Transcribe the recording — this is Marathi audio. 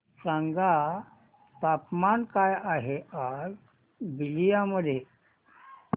सांगा तापमान काय आहे आज बलिया मध्ये